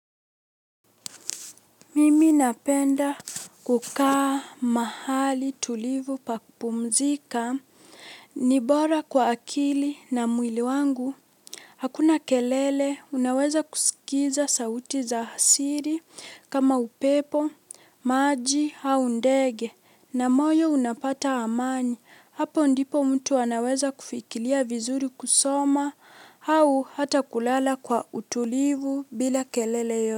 Mimi napenda kukaa mahali tulivu pa kupumzika, ni bora kwa akili na mwili wangu. Hakuna kelele, unaweza kusikiza sauti za asili kama upepo, maji au ndege na moyo unapata amani. Hapo ndipo mtu anaweza kufikiria vizuri kusoma au hata kulala kwa utulivu bila kelele yo.